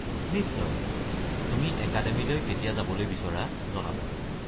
নিশ্চয়, তুমি একাডেমিলৈ কেতিয়া যাবলৈ বিচৰা জনাবা।